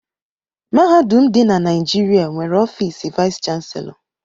Mahadum dị na Naịjịrịa nwere ọfiisi vaịs chanselọ.